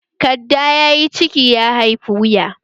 Kadda ya yi ciki, ya haifi wuya